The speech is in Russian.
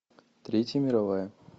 третья мировая